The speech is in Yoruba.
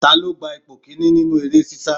Ta ló gba ipò kìíní nínú eré sisa?